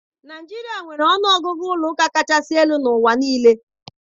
Naijiria nwere ọnụ ọgụgụ ụlọ ụka kachasị elu n'ụwa niile.